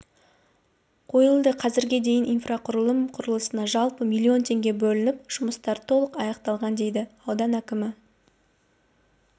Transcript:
қойылды қазірге дейін инфрақұрылым құрылысына жалпы млн теңге бөлініп жұмыстар толық аяқталған дейді аудан әкімі